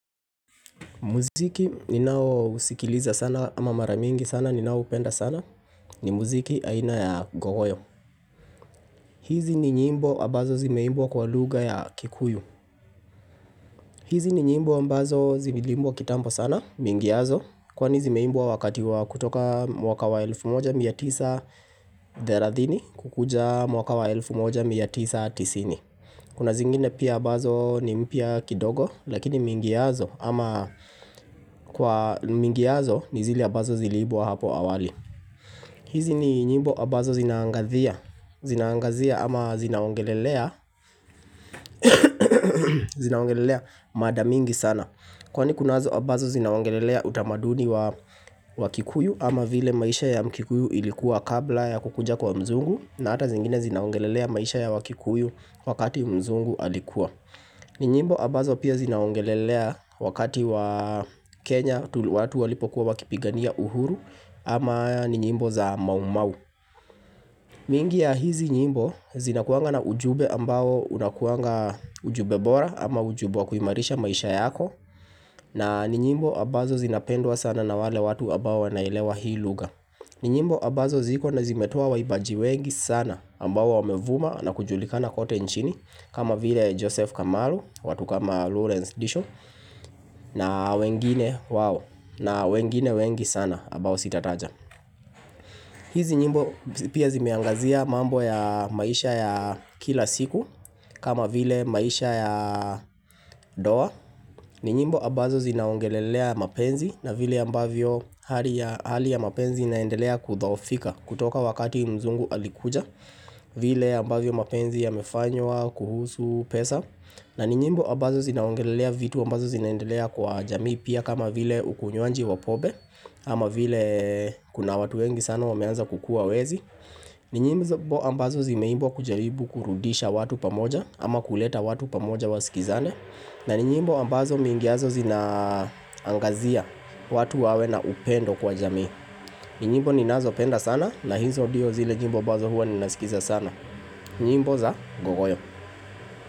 Muziki ninao usikiliza sana ama mara mingi sana ninaoupenda sana ni muziki aina ya gowoyo. Hizi ni nyimbo abazo zimeimbwa kwa lugha ya kikuyu. Hizi ni nyimbo ambazo ziliimbwa kitambo sana, mingiazo, kwani zimeimbwa wakati wa kutoka mwaka wa elfu moja mia tisa therathini kukuja mwaka wa elfu moja mia tisa tisini. Kuna zingine pia abazo ni mpya kidogo lakini mingi yazo ama kwa mingi yazo ni zile abazo ziliibwa hapo awali hizi ni nyimbo abazo zinaangazia ama zinaongelelea zinaongelelea mada mingi sana Kwani kunazo abazo zinaongelelea utamaduni wa kikuyu ama vile maisha ya mkikuyu ilikuwa kabla ya kukuja kwa mzungu, na ata zingine zinaongelelea maisha ya wakikuyu wakati mzungu alikuwa ni nyimbo abazo pia zinaongelelea wakati wa Kenya watu walipokuwa wakipigania uhuru ama ni nyimbo za maumau mingi ya hizi nyimbo zinakuanga na ujube ambao unakuanga ujube bora ama ujubwa wa kuimarisha maisha yako na ni nyimbo abazo zinapendwa sana na wale watu abao wanailewa hii lugha ni nyimbo abazo ziko na zimetoa waibaji wengi sana ambao wamevuma na kujulika kote nchini kama vile Joseph Kamaru, watu kama Lorence Disho na wengine wengi sana abao sitataja hizi nyimbo pia zimeangazia mambo ya maisha ya kila siku kama vile maisha ya doa ni nyimbo abazo zinaongelelea mapenzi na vile ambavyo hali ya mapenzi inaendelea kudhohofika kutoka wakati mzungu alikuja vile ambavyo mapenzi yamefanywa kuhusu pesa na ni nyimbo ambazo zinaongelelea vitu ambazo zinaendelea kwa jamii pia kama vile ukunwanji wa pobe ama vile kuna watu wengi sana wameanza kukua wezi ni nyimbo ambazo zimeibwa kujaribu kurudisha watu pamoja ama kuleta watu pamoja wasikizane na ni nyimbo ambazo mingiazo zinaangazia watu wawe na upendo kwa jamii ni nyibo ninazopenda sana na hizo dio zile nyibo ambazo huwa ninasikiza sana, nyimbo za gogoyo.